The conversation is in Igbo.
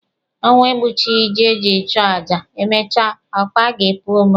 Ọnwụ egbuchighị ji e jiri chọọ aja, emechaa, akwa ọ ga-epu ome?